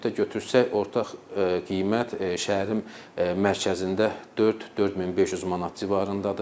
Ümumilikdə götürsək, orta qiymət şəhərin mərkəzində 4, 4500 manat civarındadır.